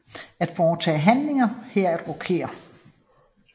At foretage handlingen hedder at rokere